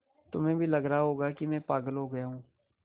तुम्हें भी लग रहा होगा कि मैं पागल हो गया हूँ